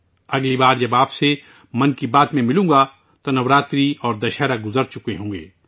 اگلی بار جب میں آپ سے من کی بات میں ملوں گا تو نوراتری اور دسہرہ ختم ہو جائیں گے